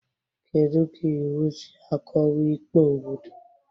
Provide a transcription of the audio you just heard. Kedu ka iwu si akọwa ikpe obodo?